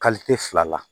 fila la